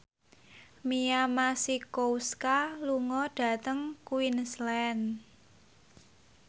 Mia Masikowska lunga dhateng Queensland